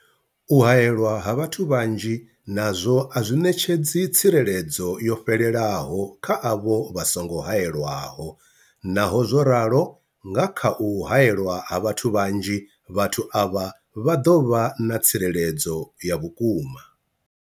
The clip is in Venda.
U haelwa ha vhathu vhanzhi nazwo a zwi ṋetshedzi tsireledzo yo fhelelaho kha avho vha songo haelwaho, Naho zwo ralo, nga kha u haelwa ha vhathu vhanzhi, vhathu avha vha ḓo vha na tsireledzo ya vhukuma.